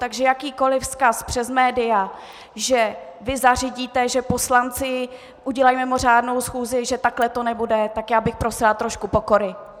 Takže jakýkoli vzkaz přes média, že vy zařídíte, že poslanci udělají mimořádnou schůzi, že takhle to nebude, tak já bych prosila trošku pokory.